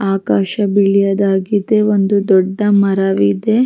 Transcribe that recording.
ಆಕಾಶ ಬಿಳಿಯದಾಗಿದೆ ಒಂದು ದೊಡ್ಡ ಮರವಿದೆ --